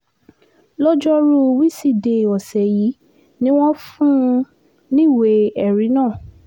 lọ́jọ́rùú wíṣídẹ̀ẹ́ ọ̀sẹ̀ yìí ni wọ́n fún un níwèé ẹ̀rí náà